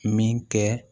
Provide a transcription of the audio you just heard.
Min kɛ